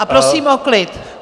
A prosím o klid.